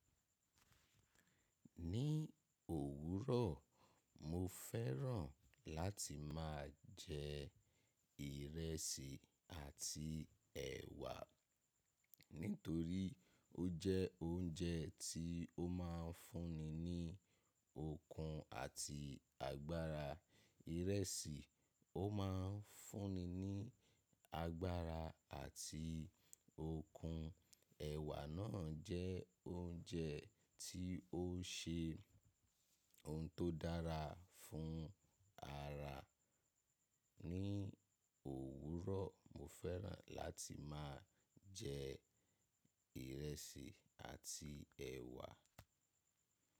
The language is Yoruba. Ní òwúrọ̀, mo fẹ́ràn láti máa jẹ ìrẹsì àti ẹ̀wà nítorí ó jẹ́ oúnjẹ tí ó máa ń fún mi ní okun àti agbára. Ìrẹsì, ó máa ń fún mi ní agbára àti okun. Ẹ̀wà náà jẹ́ oúnjẹ tí ó ṣe ohun tó dára fún ara. Ní òwúrọ̀, mo fẹ́ràn láti máa jẹ ìrẹsì àti ẹ̀wà.